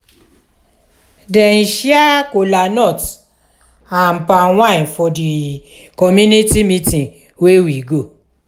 dem share cola nut and palm wine for di community meeting wey we go.